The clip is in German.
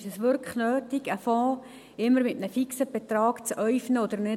Ist es wirklich nötig, einen Fonds immer mit einem fixen Betrag zu äufnen oder nicht?